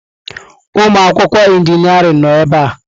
Ụmụ akwụkwọ injịniarịn nọ ebe a.